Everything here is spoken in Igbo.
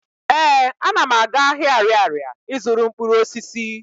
Ee, ana m aga ahịa Arịarịa ị zụrụ mkpụrụosisi.